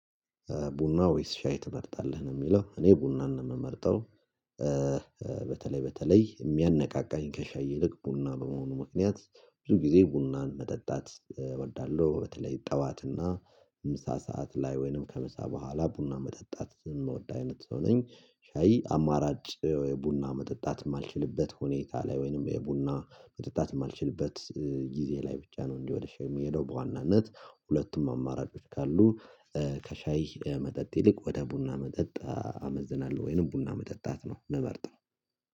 ቡና ወይስ ሻይ ትመርጣለህ? ነው የሚለው እኔ ቡናን ነው የምመርጠው በተለይ በተለይ የሚያነቃቃኝ ከሻይ ይልቅ ቡና በመሆኑ ምክንያት ብዙ ጊዜ ቡናን መጠጣት እወዳለሁ፣ በተለይ ጠዋትና ምሳ ሰዓት ላይ ወይንም ከምሳ በኋላ ቡና መጠጣት የምወድ አይነት ሰው ነኝ። ሻይ አማራጭ ወይ ቡና መጠጣት የማልችልበት ሁኔታ ላይ ወይንም ወይ ቡና መጠጣት የማልችልበት ጊዜ ላይ ብቻ ነው እንዴ ወደህ የምሄደው በዋናነት ሁለቱም አማራጮች ካሉ ከሻይ መጠጥ ይልቅ ወደ ቡና መጠጥ አመዝናለሁ ወይንም ቡና መጠጣት ነው ምመርጠው።